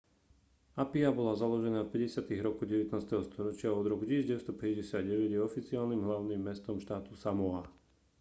apia bola založená v 50-tych rokoch 19. storočia a od roku 1959 je oficiálnym hlavným mestom štátu samoa